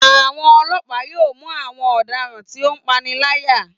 Àwọn ọlọ́pa yóò mú àwọn ọ̀daràn tí ó ń paniláyà